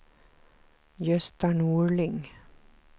Gösta Norling